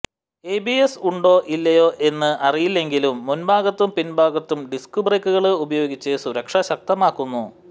ABS ഉണ്ടോ ഇല്ലയോ എന്ന് അറിയില്ലെങ്കിലും മുന്ഭാഗത്തും പിന്ഭാഗത്തും ഡിസ്ക് ബ്രേക്കുകള് ഉപയോഗിച്ച് സുരക്ഷ ശക്തമാക്കുന്നു